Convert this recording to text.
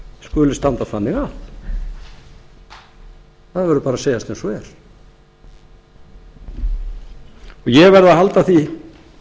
skuli standa þannig að það verður bara að segjast eins og er og ég